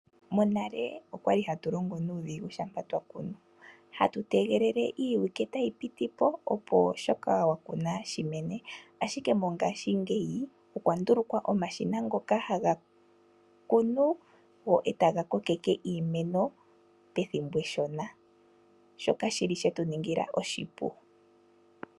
Monale okwali hatu longo nuudhigu shampa twaa kunu .Hatu tegelele iiwike tayi piti po opo shoka wakuna shimene . Ashike mongashingeyi okwa ndulukwa omashina ngoka haga kunu go etaga kokeke iimeno pethimbo eshona .Shoka oshili shetu ningila oshipu .